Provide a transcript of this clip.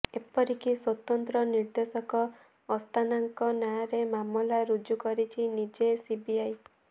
ଏପରିକି ସ୍ୱତନ୍ତ୍ର ନିର୍ଦ୍ଦେଶକ ଅସ୍ଥାନାଙ୍କ ନାଁରେ ମାମଲା ରୁଜୁ କରିଛି ନିଜେ ସିବିଆଇ